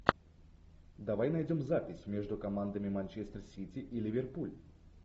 давай найдем запись между командами манчестер сити и ливерпуль